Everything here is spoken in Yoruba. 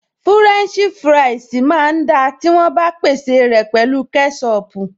Fúrẹ́ǹṣì fúráìsì máa ń da tí wọ́n bá pèsè rẹ̀ pẹ̀lú kẹ́ṣọpù